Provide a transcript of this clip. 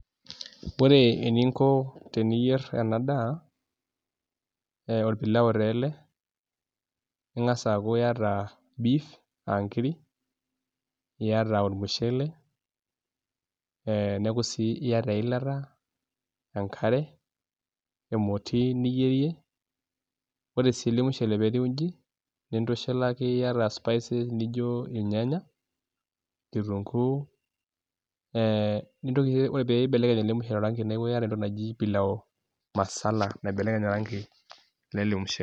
Ore eninko teniyer ena daa, orpilao taa ele. Ing'as aakuu iyata beef aa nkiri, iyata ormushele, neeku sii iyata eilata, enkare, emoti niyierie. Ore sii ele mushele pee tiu iji nintushulaki iyata spices[cs naijo irnyanya, kitunguu. Ore pibelekeny ele mushele oranki neeku itata entoki naji pilau masala loibelekeny oranki lele mushele.